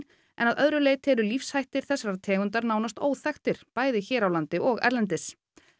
en að öðru leyti eru lífshættir þessarar tegundar nánast óþekktir bæði hér á landi og erlendis